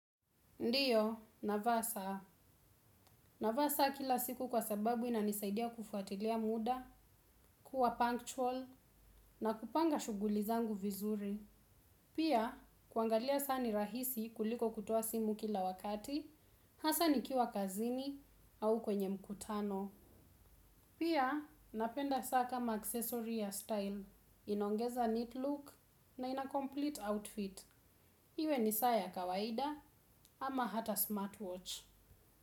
Ndio navaa saa navaa saa kila siku kwa sababu inanisaidia kufwatilia musa kuwa punctual na kupanga shughuli zangu vizuri pia kuangalia saa ni rahisi kuliko kutoa simu kila wakati hasa nikiwa kazini au kwenye mkutano. Pia, napenda saa kama accessory ya style. Inaongeza neat look na ina complete outfit. Iwe ni saa ya kawaida ama ata smartwatch.